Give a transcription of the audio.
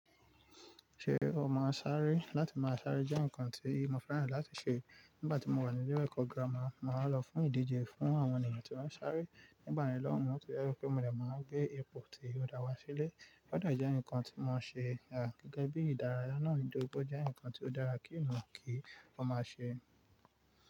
Ṣé o máa ń sáré? Láti máa sáré jẹ́ nǹkan tí mo fẹ́ràn láti ṣe nígbà tí mo wà ní ilé ẹ̀kọ́ gírámà. Mo máa ń lọ fún ìdíje fún àwọn ènìyàn tí wọ́n ń sáré. Nígbà mìíràn lọ́wọ́, ó ṣe ẹ́ rẹ́ pé mo lè máa gbé ipò tí ó dáwà sílẹ̀. Ọ̀dà jẹ́ nǹkan tí mo ṣe rà gẹ́gẹ́ bí ìdárayá náà ìdòpọ̀ jẹ́ nǹkan tí ó dára kínu kí o máa ṣe.